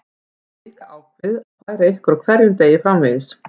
Við höfum líka ákveðið að færa ykkur á hverjum degi framvegis.